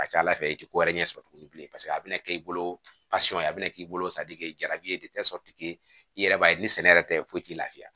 A ka ca ala fɛ i ti ko wɛrɛ ɲɛ sɔrɔ tuguni bilen paseke a bɛna kɛ i bolo a bɛna k'i bolo jarabi ye i yɛrɛ b'a ye ni sɛnɛ yɛrɛ tɛ foyi t'i la